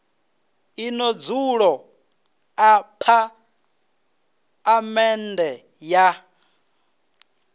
ḽino dzulo ḽa phaḽamennde ya